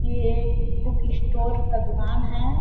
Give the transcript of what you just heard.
ये एक book store का दुकान है।